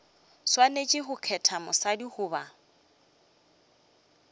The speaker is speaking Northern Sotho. swanetše go kgetha mosadi goba